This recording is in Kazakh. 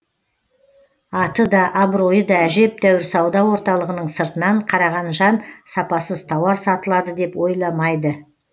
аты да абыройы да әжептеуір сауда орталығының сыртынан қараған жан сапасыз тауар сатылады деп ойламайды